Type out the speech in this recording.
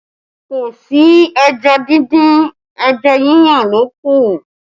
Kò sí ẹja díndín, ẹja yíyan ló kù